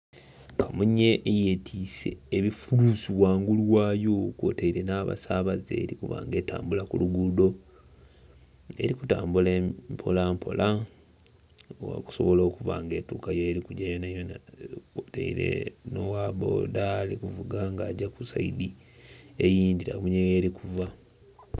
Kamunye eye twise ebifulusi ghangulu ghaayo kwotaire na'basabaze, eri kuba nga etambula ku luguudo eri kutambula mpola mpola okusobola okuba nga etuuka yeri kugya yona yona, kwotaire no' wa bboda ali kuvuga nga agya ku sayidi eyindhi kamunye yeri kuva.